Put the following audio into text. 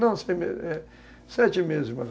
Não, seis meses, sete meses mais ou menos.